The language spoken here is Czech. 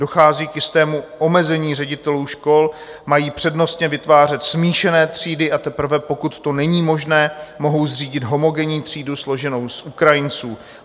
Dochází k jistému omezení ředitelů škol, mají přednostně vytvářet smíšené třídy, a teprve pokud to není možné, mohou zřídit homogenní třídu složenou z Ukrajinců.